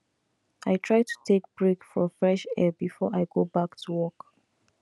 i try to take break for fresh air before i go back to work